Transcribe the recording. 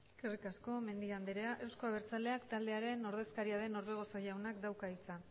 eskerrik asko mendia andrea euzko abertzaleak taldearen ordezkaria den orbegozo jaunak dauka hitza